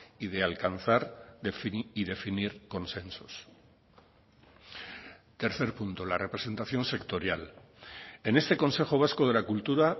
y de alcanzar y definir consensos tercer punto la representación sectorial en este consejo vasco de la cultura